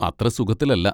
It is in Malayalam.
അത്ര സുഖത്തിലല്ല.